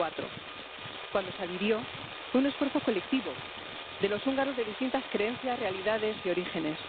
2004. Cuando se adhirió fue un esfuerzo colectivo de los húngaros de distintas creencias, realidades y orígenes.